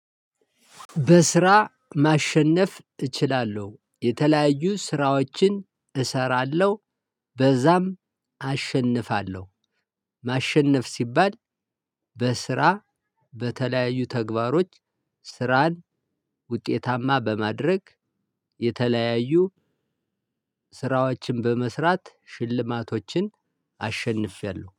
በስራ ማሸነፍ እችላለሁ። የተለያዩ ስራዎችን እሰራለሁ። በዛም አሸንፋለሁ። ማሸነፍ ሲባል- በስራ በተለያዩ ተግባሮች ስራን ውጤታማ በማድረግ- የተለያዩ ስራዎችን በመስራት ሽልማቶችን አሸንፌያለሁ።